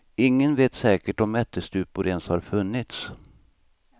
Ingen vet säkert om ättestupor ens har funnits.